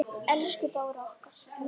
Elsku Bára okkar.